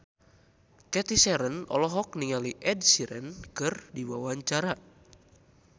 Cathy Sharon olohok ningali Ed Sheeran keur diwawancara